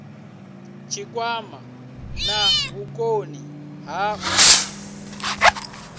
tshikwama na vhukoni ha u